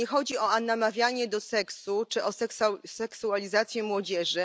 Tu nie chodzi o namawianie do seksu czy o seksualizację młodzieży.